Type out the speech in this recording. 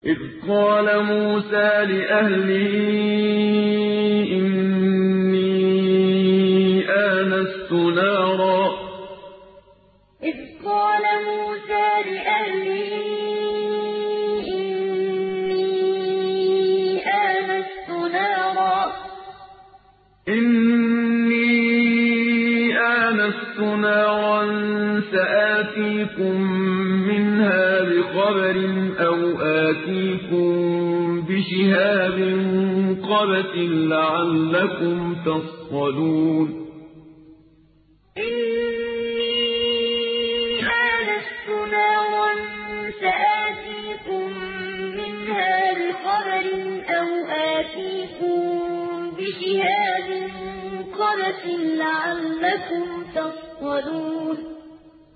إِذْ قَالَ مُوسَىٰ لِأَهْلِهِ إِنِّي آنَسْتُ نَارًا سَآتِيكُم مِّنْهَا بِخَبَرٍ أَوْ آتِيكُم بِشِهَابٍ قَبَسٍ لَّعَلَّكُمْ تَصْطَلُونَ إِذْ قَالَ مُوسَىٰ لِأَهْلِهِ إِنِّي آنَسْتُ نَارًا سَآتِيكُم مِّنْهَا بِخَبَرٍ أَوْ آتِيكُم بِشِهَابٍ قَبَسٍ لَّعَلَّكُمْ تَصْطَلُونَ